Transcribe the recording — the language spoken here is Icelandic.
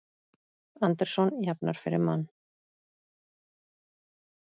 Anderson jafnar fyrir Man